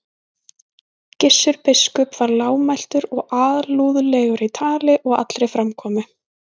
Gissur biskup var lágmæltur og alúðlegur í tali og allri framkomu.